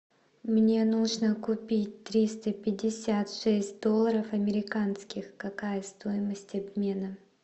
мне нужно купить триста пятьдесят шесть долларов американских какая стоимость обмена